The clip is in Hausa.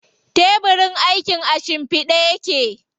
Tebirin aikin a shimfiɗe yake.